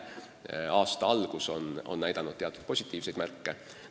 Aasta algus on näidanud teatud positiivseid märke.